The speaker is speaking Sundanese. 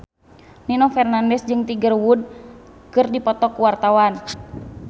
Nino Fernandez jeung Tiger Wood keur dipoto ku wartawan